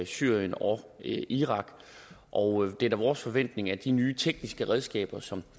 syrien og irak og det er da vores forventning at de nye tekniske redskaber som